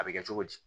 A bɛ kɛ cogo di